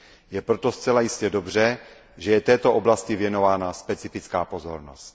Je proto zcela jistě dobře, že je této oblasti věnována specifická pozornost.